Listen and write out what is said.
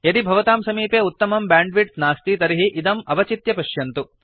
यदि भवतां समीपे उत्तमं ब्यांड्विड्त् नास्ति तर्हि इदम् अवचित्य पश्यन्तु